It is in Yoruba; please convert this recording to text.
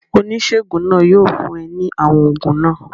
Oníṣègùn náà yóò fún é ní àwọn oògùn náà